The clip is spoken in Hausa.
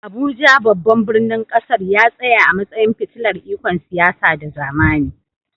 Abuja, babban birnin ƙasar, ya tsaya a matsayin fitilar ikon siyasa da zamani.